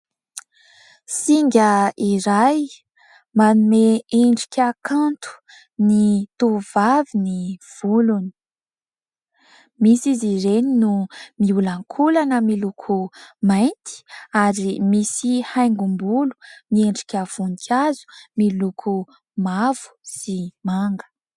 Singa iray manome endrika kanto ny tovavy ny volony. Misy izy ireny no miolankolana miloko mainty ary misy haingom-bolo miendrika voninkazo miloko mavo sy manga.